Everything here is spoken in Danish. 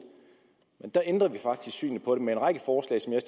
men der ændrede vi faktisk syn på dem med en række forslag som jeg